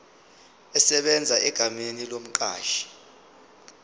esebenza egameni lomqashi